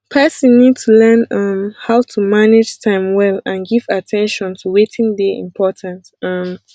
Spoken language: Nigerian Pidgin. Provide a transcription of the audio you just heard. person need to learn um how to manage time well and give at ten tion to wetin dey important um